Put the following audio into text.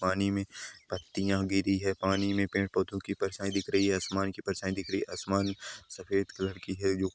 पानी मे पत्तियां गिरी है पानी मे पेड़ पौधे की परछाई दिख रही है आसमान कि परछाई दिख रही है आसमान सफेद कलर की है जो --